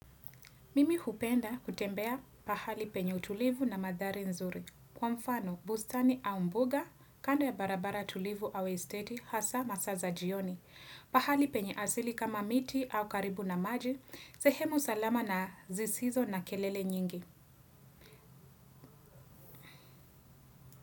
Mimi hupenda kutembea pahali penye utulivu na mandhari nzuri. Kwa mfano, bustani au mbuga, kando ya barabara tulivu au esteti, hasa masaa za jioni. Pahali penye asili kama miti au karibu na maji, sehemu salama na zisizo na kelele nyingi.